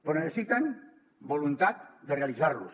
però necessiten voluntat de realitzar los